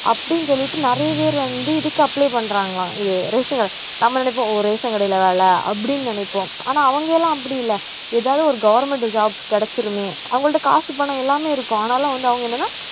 அப்படின்னு சொல்லிட்டு நிறைய பேர் வந்து இதுக்கு apply பண்றாங்களாம் இது நம்ம நினைப்போம் ஓ ration கடையில வேலை அப்படின்னு நினைப்போம் ஆனா அவங்க எல்லாம் அப்படி இல்ல ஏதாவது ஒரு government job கிடைச்சிருமே அவங்கள்ட்ட காசு பணம் எல்லாமே இருக்கும் ஆனாலும் வந்து அவங்க என்னன்னா